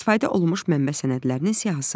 İstifadə olunmuş mənbə sənədlərinin siyahısı.